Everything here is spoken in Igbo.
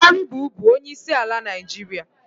Buhari bụbu onye isi ala Naịjirịa.